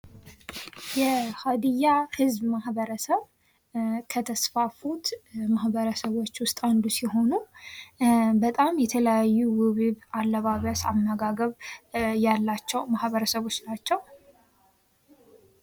የሀዲያ ህዝብ ማህበረሰብ ከተስፋፉት ማህበረሰቦች ውስጥ አንዱ ሲሆኑ በጣም የተለያዩ ውብ ውብ አለባበስ ፣ አመጋገብ ያላቸው ማህበረሰቦች ናቸው ።